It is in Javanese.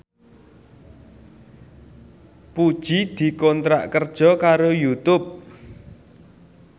Puji dikontrak kerja karo Youtube